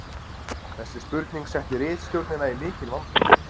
Þessi spurning setti ritstjórnina í mikinn vanda.